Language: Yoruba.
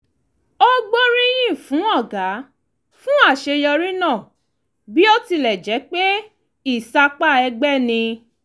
ó gbóríyìn fún ọ̀gá fún àṣeyọrí náà bí ó tilẹ̀ jẹ́ pé ìsapá ẹgbẹ́ ni